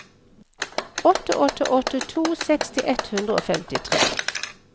åtte åtte åtte to seksti ett hundre og femtitre